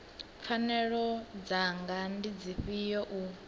pfanelo dzanga ndi dzifhio u